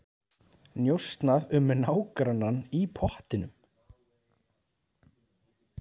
Njósnað um nágrannann í pottinum